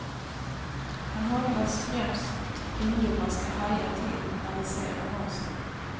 Han hoppas främst ungdomar ska haja till när de ser annonserna.